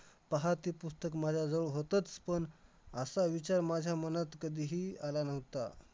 आणि मला दहावीला सुद्धा चांगले percentage आहेत तर मॅडमने